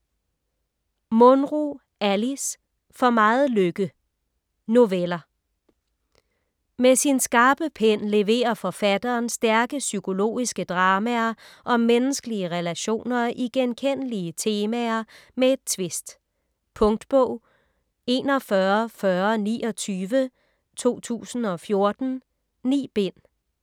Munro, Alice: For meget lykke Noveller. Med sin skarpe pen leverer forfatteren stærke psykologiske dramaer om menneskelige relationer i genkendelige temaer med et tvist. Punktbog 414029 2014. 9 bind.